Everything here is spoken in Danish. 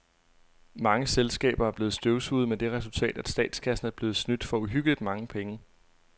Mange selskaber er blevet støvsuget med det resultat, at statskassen er blevet snydt for uhyggeligt mange penge.